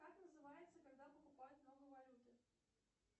как называется когда покупают много валюты